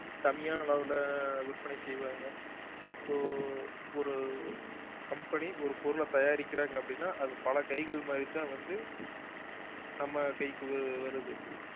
கம்மியான அளவுல விற்பனை செய்வாங்க இப்போ ஒரு company ஒரு பொருளை தயாரிக்கிறாங்க அப்படின்னா அது பல கைகள் மாறிதான் வந்து நம்ம கைக்கு வ~ வருது